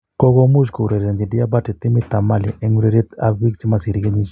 kogomuch kourerenjin Diabate timit ap Mali en ureriet ap pik chemosire keyishek 20 ak 23.